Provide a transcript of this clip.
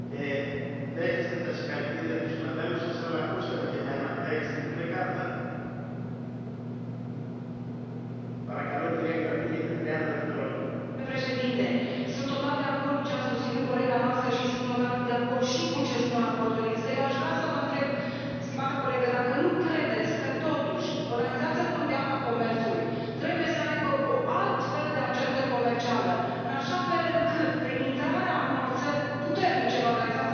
Domnule președinte, sunt total de acord cu ce a susținut colega noastră și sunt total de acord și cu ce spun raportorii, însă eu aș vrea să vă întreb, stimată colegă, dacă nu credeți că, totuși, Organizația Mondială a Comerțului trebuie să aibă o altfel de agendă comercială, în așa fel încât, prin intrarea unor țări puternice în Organizația Mondială a Comerțului, să nu se